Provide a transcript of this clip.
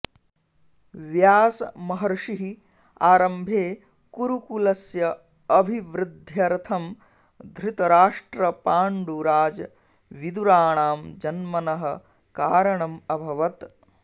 व्यासमहर्षिः आरम्भे कुरुकुलस्य अभिवृध्दयर्थं धृतराष्ट्रपाण्डुराजविदुराणां जन्मनः कारणम् अभवत्